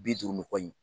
Bi duuru ni kɔ in